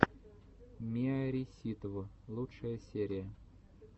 миарисситв лучшая серия